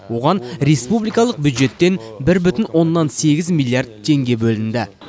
оған республикалық бюджеттен бір бүтін оннан сегіз миллиард теңге бөлінді